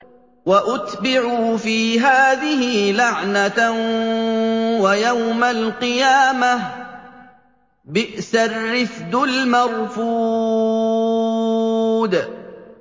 وَأُتْبِعُوا فِي هَٰذِهِ لَعْنَةً وَيَوْمَ الْقِيَامَةِ ۚ بِئْسَ الرِّفْدُ الْمَرْفُودُ